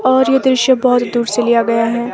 और यह दृश्य बहोत दूर से लिया गया है।